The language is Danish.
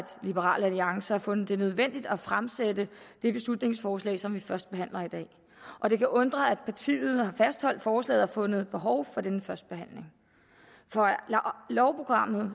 liberal alliance har fundet det nødvendigt at fremsætte det beslutningsforslag som vi førstebehandler i dag og det kan undre at partiet har fastholdt forslaget og fundet behov for denne førstebehandling for af lovprogrammet